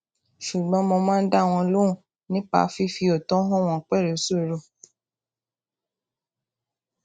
ṣùgbọn mo máa n dá wọn lóhùn nípa fífi òótọ hàn wọn pẹlú sùúrù